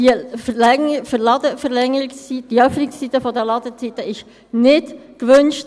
Die Verlängerung der Öffnungszeiten der Läden wird von jenen, die diese Arbeit ausführen, nicht gewünscht.